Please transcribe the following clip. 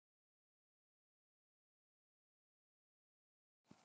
Elsku amma Sísí.